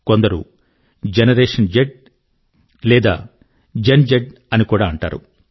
కొందరు generation Z లేక gen Z అని కూడా అంటారు